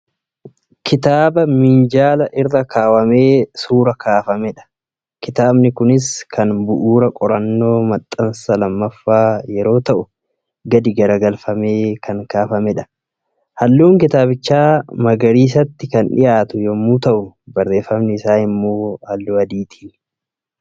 Kitaaba minjaala irra kaawwamee suura kaafamedha. Kitaabni kunis kan bu'uura qorannoo maxxansaa lammaffaa yeroo ta'u, gadi garagalfamee kan kaafamedha. Halluun kitaabichaa magariisatti kan dhiyaatu yommuu ta'u barreeffamni isaa immoo halluu adiitiini.